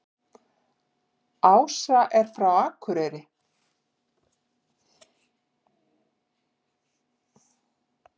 Ása er frá Akureyri.